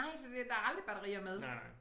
Nej fordi at der aldrig batterier med